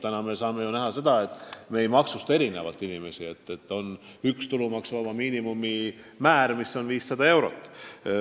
Praegu me ei maksusta inimesi selles mõttes erinevalt, et on üks tulumaksuvaba miinimumi määr, mis on 500 eurot.